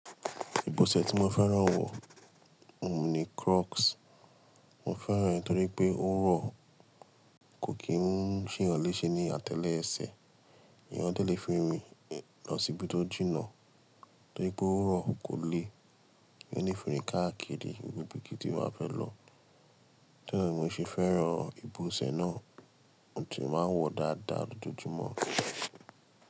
Ìbọ̀sẹ̀ tí mo fẹ́ràn wọ̀, òun ni Crocs. Mo fẹ́ràn rẹ̀ torí pé ó rọ̀, kò kí n ṣe eeyàn léṣe ní àtẹlẹsẹ̀. Ẹ̀yàn lè fi rin lọ síbi tó jìnnà torí pé ó rọ̀, kò le eeyan le fi rín káàkiri ibi ibíkibi tí mo bá fẹ́ lọ. Torí náà ni mo ṣe fẹ́ràn ìbọ̀sẹ̀ náà, mo sì ti máa ń wọ dáadáa lójoojúmọ́.